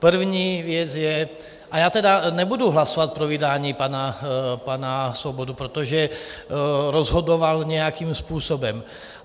První věc je - a já tedy nebudu hlasovat pro vydání pana Svobody, protože rozhodoval nějakým způsobem.